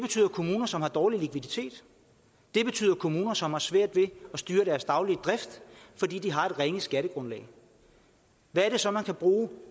kommuner som har dårlig likviditet det er kommuner som har svært ved at styre deres daglige drift fordi de har et ringe skattegrundlag hvad er det så man kan bruge